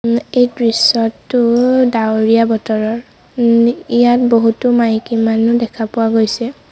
ওম এই দৃশ্যটো ডাৱৰীয়া বতৰৰ ওম ইয়াত বহুটো মাইকীমানুহ দেখা পোৱা গৈছে।